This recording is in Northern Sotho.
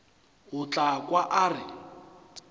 o tla kwa a re